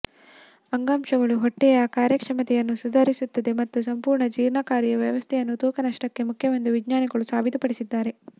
ಅಂಗಾಂಶಗಳು ಹೊಟ್ಟೆಯ ಕಾರ್ಯಕ್ಷಮತೆಯನ್ನು ಸುಧಾರಿಸುತ್ತದೆ ಮತ್ತು ಸಂಪೂರ್ಣ ಜೀರ್ಣಕಾರಿ ವ್ಯವಸ್ಥೆಯನ್ನು ತೂಕ ನಷ್ಟಕ್ಕೆ ಮುಖ್ಯವೆಂದು ವಿಜ್ಞಾನಿಗಳು ಸಾಬೀತುಪಡಿಸಿದ್ದಾರೆ